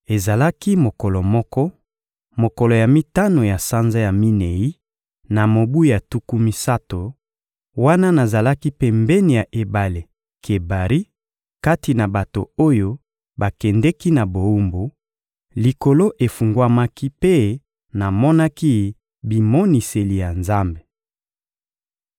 Ezalaki mokolo moko, mokolo ya mitano ya sanza ya minei, na mobu ya tuku misato, wana nazalaki pembeni ya ebale Kebari kati na bato oyo bakendeki na bowumbu, likolo efungwamaki mpe namonaki bimoniseli ya Nzambe.